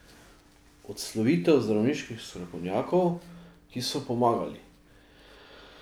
Odslovitev zdravniških strokovnjakov, ki so pomagali.